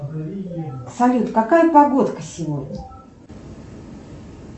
салют какая погодка сегодня